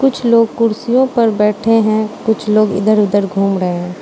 कुछ लोग कुर्सियों पर बैठे है कुछ लोग इधर उधर घूम रहे--